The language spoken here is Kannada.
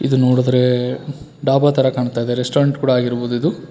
ಇದು ನೋಡುದ್ರೆ ಡಾಬಾ ತರ ಕಾಣ್ತಾಇದೆ ರೆಸ್ಟೋರೆಂಟ್ ಕೂಡ ಆಗಿರಬಹುದು ಇದು.